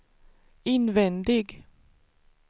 invändig